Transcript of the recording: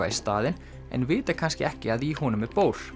í staðinn en vita kannski ekki að í honum er